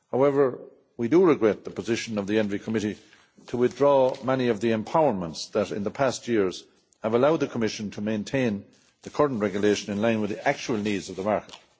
However we do regret the position of the Environment Committee in favour of withdrawing many of the empowerments that in the past years have allowed the Commission to maintain the current regulation in line with the actual needs of the market.